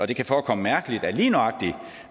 det kan forekomme mærkeligt at lige nøjagtig